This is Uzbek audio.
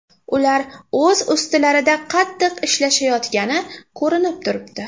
Ular o‘z ustilarida qattiq ishlashayotgani ko‘rinib turibdi.